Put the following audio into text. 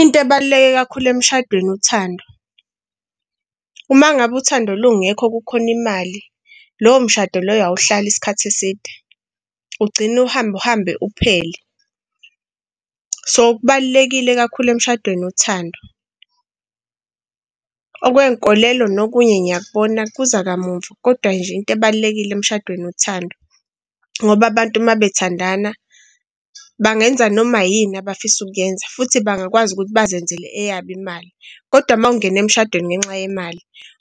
Into ebaluleke kakhulu emshadweni uthando. Uma ngabe uthando lungekho kukhona imali, lowo mshado loyo awuhlali isikhathi eside ugcine uhambe, uhambe uphele. So kubalulekile kakhulu emshadweni uthando. Okwey'nkolelo nokunye ngiyakubona kuza kamuva, kodwa nje into ebalulekile emshadweni uthando ngoba abantu uma bethandana bangenza noma yini abafisa ukuyenza futhi bangakwazi ukuthi bazenzele eyabo imali. Kodwa uma ungena emshadweni ngenxa yemali